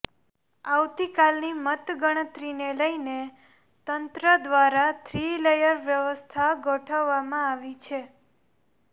આવતીકાલની મતગણતરીને લઇને તંત્ર દ્વારા થ્રી લેયર વ્યવસ્થા ગોઠવવામાં આવી છે